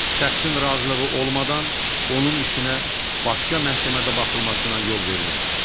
Şəxsin razılığı olmadan onun işinə başqa məhkəmədə baxılmasına yol verilmir.